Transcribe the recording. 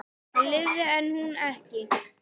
Hann lifði en hún ekki.